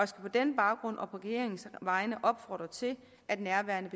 skal på den baggrund og på regeringens vegne opfordre til at nærværende